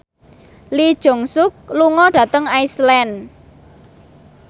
Lee Jeong Suk lunga dhateng Iceland